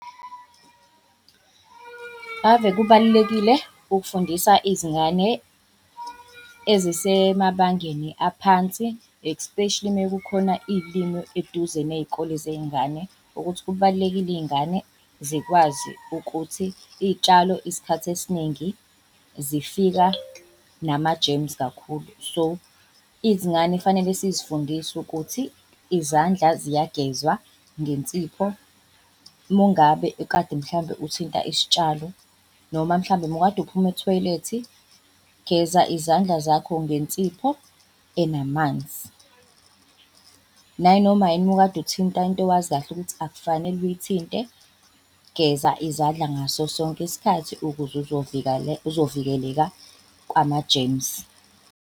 Ave kubalulekile ukufundisa izingane ezisemabangeni aphansi, especially uma kukhona iy'limi eduze ney'kole zey'ngane ukuthi kubalulekile iy'ngane zikwazi ukuthi iy'tshalo isikhathi esiningi zifika nama-germs kakhulu. So izingane fanele sizifundise ukuthi izandla ziyagezwa ngensipho mungabe, kade mhlambe uthinta isitshalo noma mhlambe mukade uphuma ethoyilethi geza izandla zakho ngensipho enamanzi. Nayinoma yini mukade uthinta into owazikahle ukuthi akufanele uyithinte, geza izandla ngaso sonke isikhathi ukuze uzovikeleka kwama-germs.